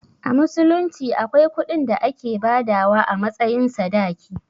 A musulunci akwai kuɗin da ake badawa a matsayin sadaki.